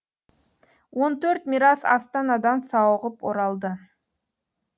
он төрт мирас астанадан сауығып оралды